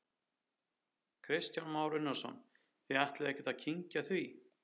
Kristján Már Unnarsson: Þið ætlið ekkert að kyngja því?